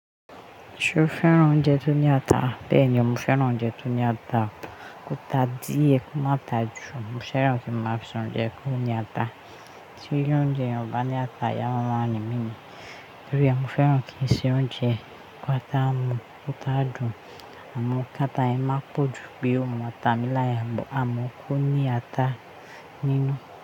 Ṣo fẹ́ran oúnjẹ tó ní ata? Bẹ́ẹ̀ni mo fẹ́ran oúnjẹ tó ní ata, o ta díẹ̀ kó má ta jù. Mo fẹ́ran kí máa fi sùn oúnjẹ kó ní ata. Ti i oúnjẹ Yen obá ní ata, ayá ma máa rin mí nìyẹn. Torí ẹ, mo fẹ́ran kí n se oúnjẹ, kó ta mu kó ta jù. Àmọ káta ẹ má pọ̀ ju bí o mú ata mí láya, àmọ kó ní ata nínú.